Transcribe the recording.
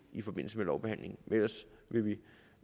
i forbindelse med lovbehandlingen men ellers vil vi